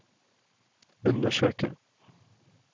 undersøke